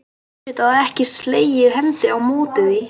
Ég gat auðvitað ekki slegið hendi á móti því.